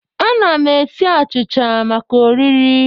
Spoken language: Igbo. Ana m esi achịcha maka oriri